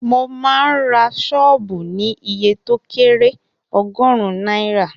Mo máa ń ra sọ́ọ̀bù ní iye to kẹ́rẹ̀ ogórún náírà